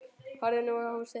Horfði nú á húsið.